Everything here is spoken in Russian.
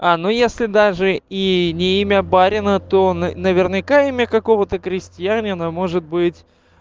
а ну если даже и не имя барина то н наверняка имя какого-то крестьянина может быть